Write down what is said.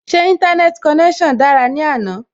Ṣé Íńtánẹ́ẹ̀tì konẹ́sàn dára ní àná?